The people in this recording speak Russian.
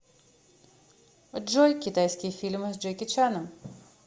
джой китайский фильмы с джеки чаном